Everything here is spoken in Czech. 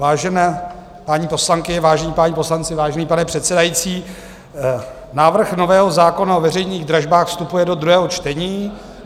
Vážené paní poslankyně, vážení páni poslanci, vážený pane předsedající, návrh nového zákona o veřejných dražbách vstupuje do druhého čtení.